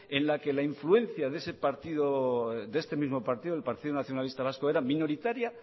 en la que la influencia de este mismo partido el partido nacionalista vasco era